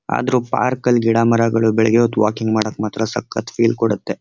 ಆದರೂ ಪಾರ್ಕ್ ಲ್ಲಿ ಗಿಡ ಮರಗಳು ಬೆಳೆಯೋದು ವಾಕಿಂಗ್ ಮಾಡಕ್ ಮಾತ್ರ ಸಖತ್ ಫೀಲ್ ಕೊಡುತ್ತೆ.